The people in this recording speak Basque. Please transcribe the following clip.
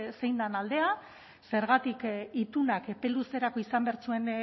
zein den aldea zergatik itunak epe luzerako izan behar zuen